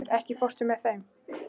Málfríður, ekki fórstu með þeim?